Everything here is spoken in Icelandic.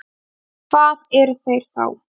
En hvað eru þeir þá?